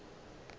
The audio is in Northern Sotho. o be a fele a